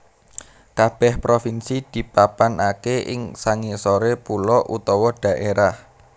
Kabèh provinsi dipapanaké ing sangisoré pulo utawa dhaérah